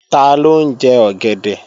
Taló ń jẹ ọ̀gẹ̀dẹ̀?